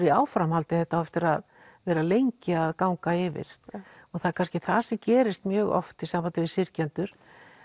í áframhaldi þetta á eftir að vera lengi að ganga yfir og það er kannski það sem gerist mjög oft í sambandi við syrgjendur